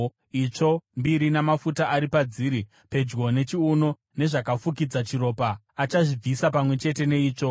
itsvo mbiri namafuta ari padziri pedyo nechiuno nezvakafukidza chiropa, achazvibvisa pamwe chete neitsvo.